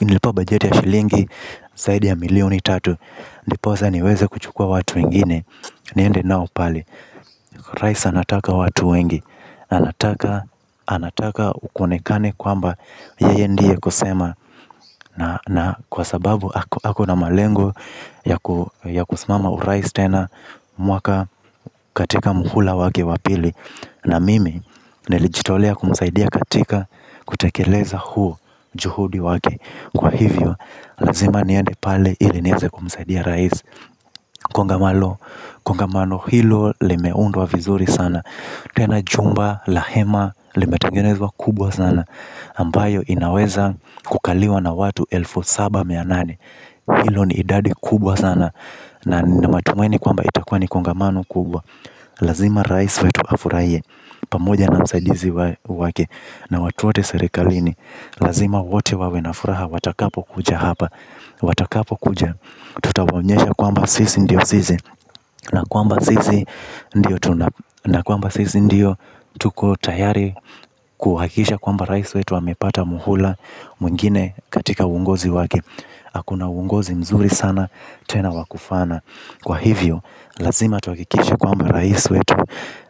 Nilipewa bajeti ya shilingi zaidi ya milioni tatu. Ndiposa niweze kuchukua watu wengine. Niende nao pale. Rais anataka watu wengi. Anataka kuonekane kwamba yeye ndiye kusema. Na kwa sababu ako na malengo ya kusimama urais tena. Mwaka katika muhula wake wa pili. Na mimi nilijitolea kumsaidia katika kutekeleza huo juhudi wake. Kwa hivyo lazima niende pale ili niweze kumsaidia rais. Kongamano hilo limeundwa vizuri sana. Tena chumba la hema limetengenezwa kubwa sana ambayo inaweza kukaliwa na watu elfu saba mia nane. Hilo ni idadi kubwa sana. Na nina matumaini kwamba itakuwa ni kongamano kubwa. Lazima rais wetu afurahie pamoja na msaidizi wake na watu wote serekalini. Lazima wote wawe na furaha watakapokuja hapa. Watakapo kuja tutawaonyesha kwamba sisi ndio sisi. Na kwamba sisi ndio tuko tayari kuhakisha kwamba rais wetu amepata muhula mwingine katika uongozi wake. Ako na uongozi mzuri sana tena wa kufana. Kwa hivyo, lazima tuhakikishe kwamba rais wetu,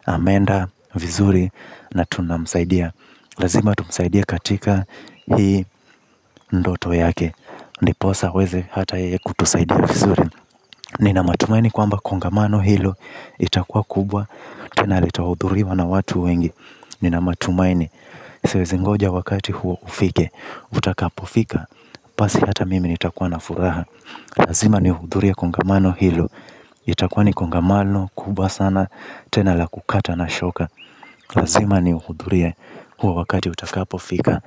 ameenda, vizuri, na tunamsaidia. Lazima tumsaidie katika hii ndoto yake. Ndiposa aweze hata yeye kutusaidia vizuri. Nina matumaini kwamba kongamano hilo itakua kubwa. Na litahudhuriwa na watu wengi. Nina matumaini siwezingoja wakati huo ufike. Utakapofika, basi hata mimi nitakuwa na furaha. Lazima nihudhurie kongamano hilo. Itakuwa ni kongamano kubwa sana. Tena la kukata na shoka lazima nihudhurie huo wakati utakapofika.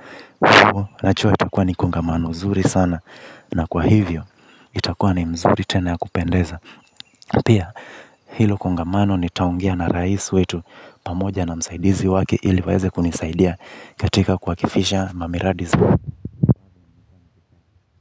Najua itakuwa ni kongamano zuri sana. Na kwa hivyo itakuwa ni mzuri tena ya kupendeza. Pia hilo kongamano nitaongea na rais wetu. Pamoja na msaidizi wake ili waeze kunisaidia katika kuakifisha mamiradi.